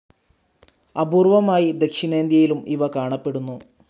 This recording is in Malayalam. അപൂർവ്വമായി ദക്ഷിണേന്ത്യയിലും ഇവ കാണപ്പെടുന്നു.